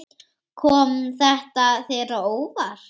Kom þetta þér á óvart?